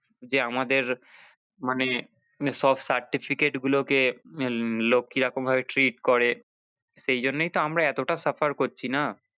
যে আমাদের মানে সব certificate গুলো কে লোক কি রকম ভাবে treat করে সেই জন্যই তো আমরা এতটা suffer করছি না।